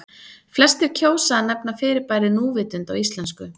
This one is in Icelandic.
Flestir kjósa að nefna fyrirbærið núvitund á íslensku.